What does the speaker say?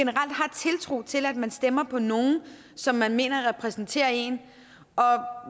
og til at man stemmer på nogen som man mener repræsenterer en